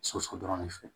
Soso dɔrɔn de fɛ